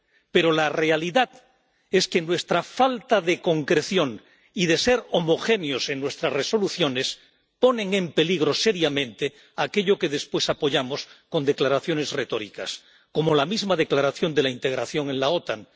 Pero la realidad es que nuestra falta de concreción y de ser homogéneos en nuestras resoluciones ponen en peligro seriamente aquello que después apoyamos con declaraciones retóricas, como la misma declaración de la integración en la OTAN.